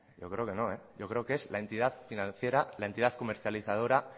yo cero que no eh yo cero que es la entidad financiera la entidad comercializadora